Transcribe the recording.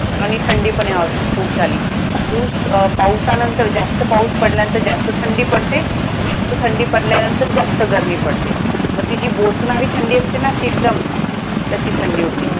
आणि थंडी पण ह्या वर्षी खूप झाली. पाऊस अं पावसानंतर जास्त पाऊस पडल्यानंतर जास्त थंडी पडते. जास्त थंडी पडल्यानंतर जास्त गरमी पडते. मग ती बोचणारी थंडी असते ना जी अशी एकदम, तशी थंडी हो होती.